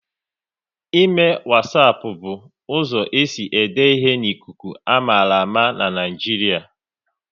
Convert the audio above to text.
Ịme wasapu bụ uzo esi ede ihe n'ikuku, a mara ama n'Naijiria